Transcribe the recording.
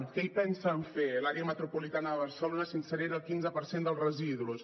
què hi pensen fer a l’àrea metropolitana de barcelona s’incinera el quinze per cent dels residus